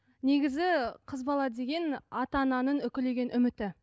негізі қыз бала деген ата ананың үкілеген үміті